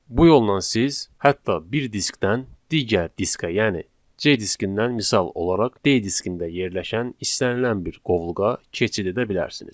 Bu yolla siz hətta bir diskdən digər diskə, yəni C diskindən misal olaraq D diskində yerləşən istənilən bir qovluğa keçid edə bilərsiniz.